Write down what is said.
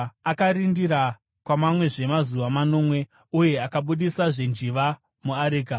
Akarindira kwamamwezve mazuva manomwe uye akabudisazve njiva muareka.